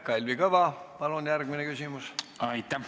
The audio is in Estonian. Kalvi Kõva, palun järgmine küsimus!